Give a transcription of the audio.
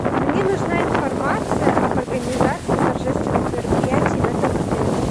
мне нужна информация об организации торжественных мероприятий в этом отеле